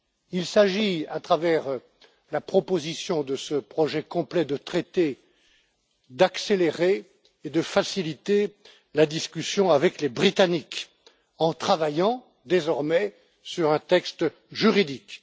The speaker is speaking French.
Il s'agit, à travers la proposition de ce projet complet de traité, d'accélérer et de faciliter la discussion avec les Britanniques en travaillant, désormais, sur un texte juridique.